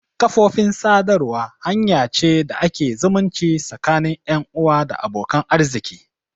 Kafofin sadarwa hanya ce da ake zumunci tsakanin 'yan uwa da abokan arziki.